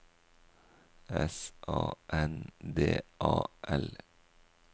S A N D A L